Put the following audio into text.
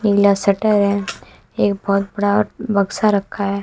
नीला shutter है एक बहोत बड़ा बक्सा रखा है।